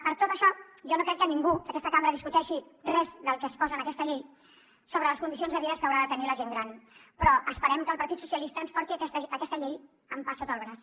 per tot això jo no crec que ningú d’aquesta cambra discuteixi res del que es posa en aquesta llei sobre les condicions de vida que haurà de tenir la gent gran però esperem que el partit socialistes ens porti aquesta llei amb pa sota el braç